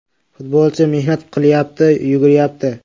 Futbolchi mehnat qilyapti, yuguryapti.